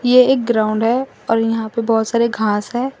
ये एक ग्राउंड है और यहां पे बहोत सारे घास है।